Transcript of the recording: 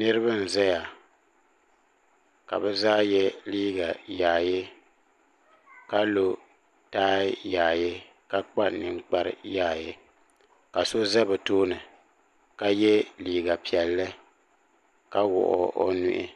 niraba m ʒɛya ka bi zaa yɛ liiga yaayɛ ka lo taai yaayɛ ka kpa ninkpari yaayɛ ka so ʒɛ bi tooni ka yɛ liiga piɛlli ka wuɣi o nuhi